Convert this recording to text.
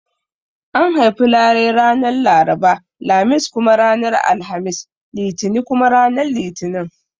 An haifi larai ranar Laraba, Lamis kuma ranar Alhamis, Litini kuma ranar Litinin